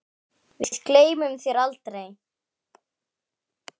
Við gleymum þér aldrei.